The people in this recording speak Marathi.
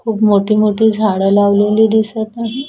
खूप मोठी मोठी झाड लावलेली दिसत नाही.